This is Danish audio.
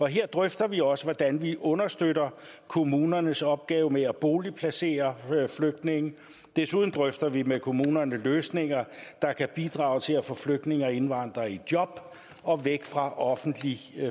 her drøfter vi også hvordan vi understøtter kommunernes opgave med at boligplacere flygtninge desuden drøfter vi med kommunerne løsninger der kan bidrage til at få flygtninge og indvandrere i job og væk fra offentlig